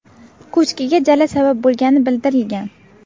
Ko‘chkiga jala sabab bo‘lgani bildirilgan.